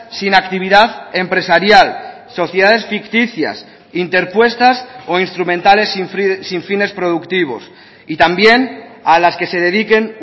sin actividad empresarial sociedades ficticias interpuestas o instrumentales sin fines productivos y también a las que se dediquen